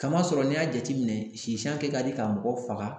Kama sɔrɔ n'i y'a jateminɛ sisan kɛ ka di ka mɔgɔ faga